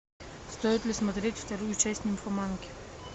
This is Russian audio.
стоит ли смотреть вторую часть нимфоманки